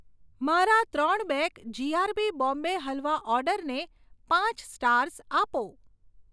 મારા ત્રણ bag G R B Bombay halwa ઓર્ડરને પાંચ સ્ટાર્સ આપો.